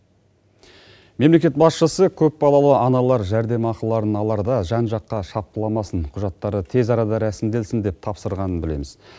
мемлекет басшысы көпбалалы аналар жәрдемақыларын аларда жан жаққа шапқыламасын құжаттары тез арада рәсімделсін деп тапсырғанын білеміз